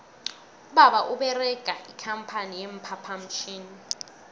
ubaba uberega ikampani ye phaphamtjhini